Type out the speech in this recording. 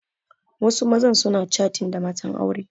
Wasu mazan suna catin da matan aure